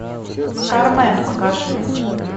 кармен покажи